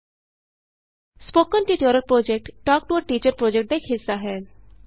spoken tutorial project talk to a teacher project ਦਾ ਇਕ ਹਿੱਸਾ ਹੈ